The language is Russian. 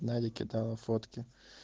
надя кидала фотки